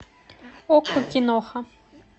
окко киноха